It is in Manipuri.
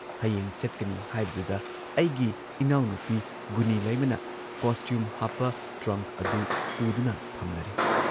ꯍꯌꯦꯡ ꯆꯠꯀꯅꯤ ꯍꯥꯏꯕꯗꯨꯗ ꯑꯩꯒꯤ ꯏꯅꯥꯎꯅꯨꯄꯤ ꯒꯨꯅꯤꯂꯩꯃꯅ ꯀꯣꯁꯇ꯭ꯌꯨꯝ ꯍꯥꯞꯄ ꯇ꯭ꯔꯪꯛ ꯑꯗꯨ ꯄꯨꯗꯨꯅ ꯊꯝꯂꯔꯦ ꯫